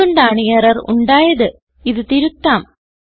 അത് കൊണ്ടാണ് എറർ ഉണ്ടായത് ഇത് തിരുത്താം